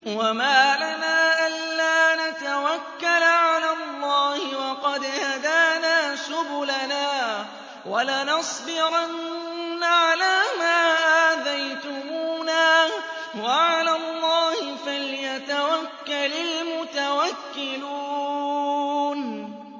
وَمَا لَنَا أَلَّا نَتَوَكَّلَ عَلَى اللَّهِ وَقَدْ هَدَانَا سُبُلَنَا ۚ وَلَنَصْبِرَنَّ عَلَىٰ مَا آذَيْتُمُونَا ۚ وَعَلَى اللَّهِ فَلْيَتَوَكَّلِ الْمُتَوَكِّلُونَ